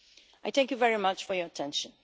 I thank you very much for your attention.